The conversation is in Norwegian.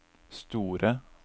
store